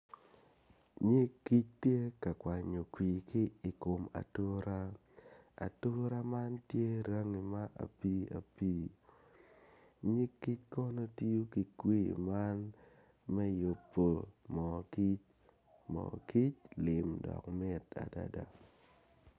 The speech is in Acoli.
Nig kic tye ka kwnyo kwir ki i kom ature, ature man tye rangi ma apiiapii nyig kic kono tiyo ki kwir man me yubo mo kic moo kic lim dok mit adada.